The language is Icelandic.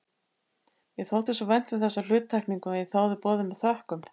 Mér þótti svo vænt um þessa hluttekningu að ég þáði boðið með þökkum.